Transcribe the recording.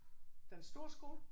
Den store skole?